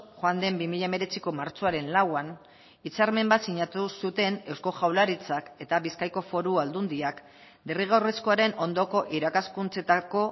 joan den bi mila hemeretziko martxoaren lauan hitzarmen bat sinatu zuten eusko jaurlaritzak eta bizkaiko foru aldundiak derrigorrezkoaren ondoko irakaskuntzetako